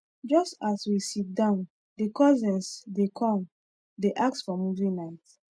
just as we sit down the cousins the come dey ask for movie night